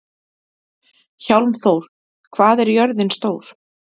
Hjálmþór, hvað er jörðin stór?